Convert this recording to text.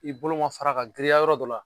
I bolo ma fara ka girinya yɔrɔ dɔ la